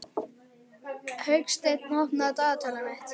Hauksteinn, opnaðu dagatalið mitt.